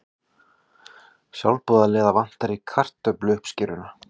Sjálfboðaliða vantar í kartöfluuppskeruna